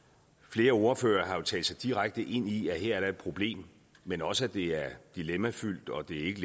flere ordførere har jo talt sig direkte ind i at her er der et problem men også at det er dilemmafyldt og det ikke